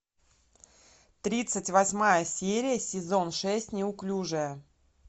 тридцать восьмая серия сезон шесть неуклюжая